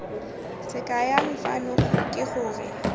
se kayang fano ke gore